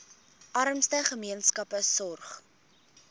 armste gemeenskappe sorg